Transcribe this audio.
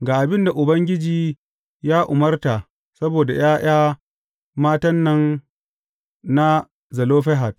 Ga abin da Ubangiji ya umarta saboda ’ya’ya matan nan na Zelofehad.